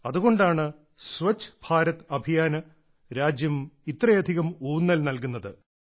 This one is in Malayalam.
അതുകൊണ്ടാണ് സ്വച്ഛ് ഭാരത് അഭിയാന് രാജ്യം ഇത്രയധികം ഊന്നൽ നൽകുന്നത്